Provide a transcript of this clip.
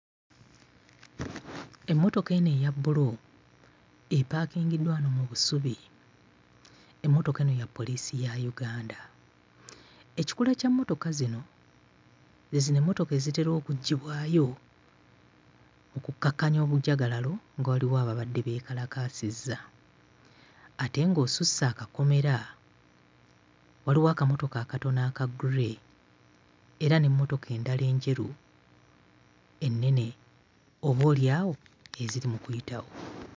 Emmotoka eno eya bbulu epaakingiddwa wano mu busubi. Emmotoka eno ya poliisi ya Uganda. Ekikula ky'emmotoka zino ze zino emmotoka ezitera okuggyibwayo okukkakkanya obujagalalo nga waliwo ababadde beekalakaasizza. Ate ng'osusse akakomera, waliwo akamotoka akatono aka ggule era n'emmotoka endala enjeru ennene, oboolyawo eziri mu kuyitawo.